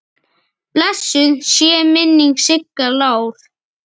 Blessuð sé minning Sigga Lár.